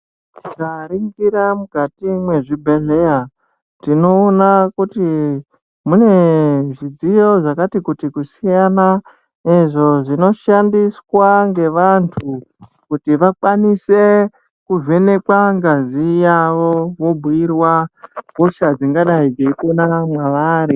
Tikaringira mukati mwezvibhedhleya, tinoona kuti mune zvidziyo zvakati kuti kusiyana, izvo zvinoshandiswa ngevantu kuti vakwanise kuvhenekwa ngazi yavo vobhuyirwa hosha dzingadai dzeipona mwavari.